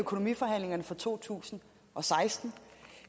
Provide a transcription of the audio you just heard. økonomiforhandlingerne for to tusind og seksten